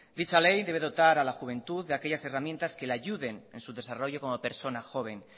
dicha ley debe dotar a la juventud de aquellas herramientas que le ayuden en su desarrollo como persona joven